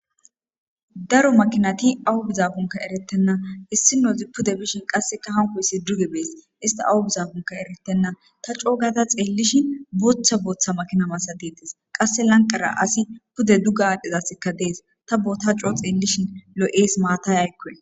daro makinati awu bizabunka eretenna issinozi pude bishin qasseka hanko yssi duge bees ista awu bizabunka eretenna ta coogata xeellishin bootha booththa makina masatides qasse lanqara asi pude dugga aadhdhizassikka dees ta boota coo xeellishin lo7ees maatay aykkoe